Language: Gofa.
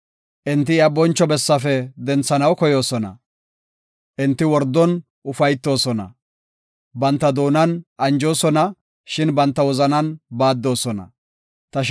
Enti iya boncho bessaafe denthanaw koyoosona; enti wordon ufaytoosona. Banta doonan anjoosona; shin banta wozanan baaddoosona. Salaha